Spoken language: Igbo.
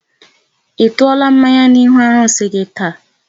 Ị tụọla mmanya n'ihu arụsị gị taa?